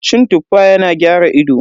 Cin Tuffa yana gyara ido.